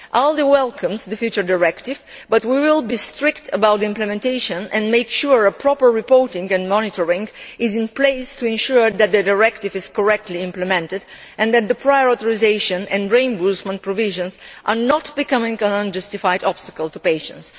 The ALDE Group welcomes the future directive, but we will be strict about its implementation and make sure proper reporting and monitoring is in place to ensure that the directive is correctly implemented, and that the prior authorisation and reimbursement provisions do not become an unjustified obstacle to patients.